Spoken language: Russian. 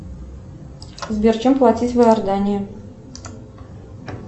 сбер чем платить в иордании